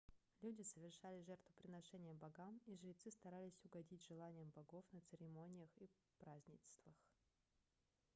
люди совершали жертвоприношения богам и жрецы старались угодить желаниям богов на церемониях и празднествах